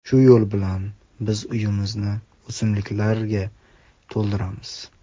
Shu yo‘l bilan biz uyimizni o‘simliklarga to‘ldiramiz.